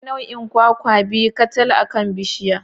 Akwai nau'in kwakwa biyu kacal akan bishiyar.